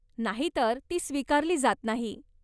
नाहीतर ती स्वीकारली जात नाही.